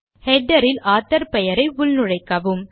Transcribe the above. header ல் author பெயரை உள்நுழைக்கவும்